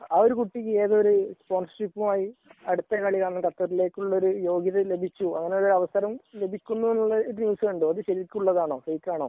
ഒരു കുട്ടി അടുത്ത കളിയാണ് ഖത്തറിലേക്ക് ഉള്ള യോഗ്യത ലഭിച്ചു അങ്ങനെ ലഭിക്കുന്നു എന്നുള്ളൊരു ന്യൂസ് കണ്ടു അത് ശരിക്കു ഉള്ളതാണോ ഫേക്ക് ആണോ